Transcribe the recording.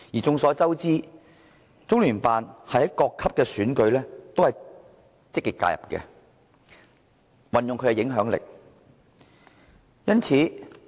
眾所周知，中聯辦在各級選舉中均積極介入，運用其影響力。